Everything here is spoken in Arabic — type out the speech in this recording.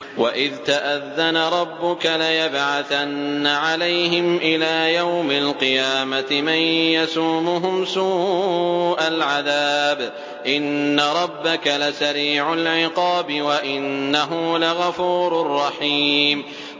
وَإِذْ تَأَذَّنَ رَبُّكَ لَيَبْعَثَنَّ عَلَيْهِمْ إِلَىٰ يَوْمِ الْقِيَامَةِ مَن يَسُومُهُمْ سُوءَ الْعَذَابِ ۗ إِنَّ رَبَّكَ لَسَرِيعُ الْعِقَابِ ۖ وَإِنَّهُ لَغَفُورٌ رَّحِيمٌ